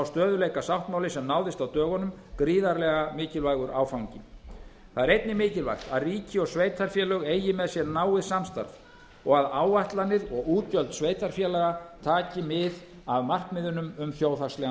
stöðugleikasáttmáli sem náðist á dögunum gríðarlega mikilvægur áfangi það er einnig mikilvægt að ríki og sveitarfélög eigi með sér náið samstarf og að áætlanir og útgjöld sveitarfélaga taki mið af markmiðunum um þjóðhagslegan